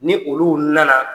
Ni olu nana